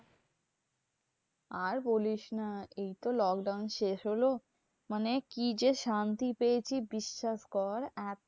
আর বলিস না এই তো lockdown শেষ হলো, মানে কি যে শান্তি পেয়েছি বিশ্বাস কর